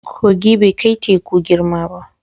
Kogi bai kai teku girma ba.